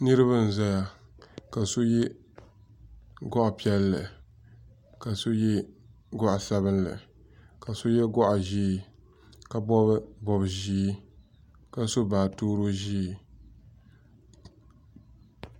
niriba n zaya ka so yɛ goɣ' piɛli ka so yɛ goɣ' sabinli ka so yɛ goɣ' ʒiɛ ka bobi bobiʒiɛ ka so baaturo ʒiɛ